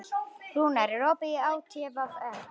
Rúnar, er opið í ÁTVR?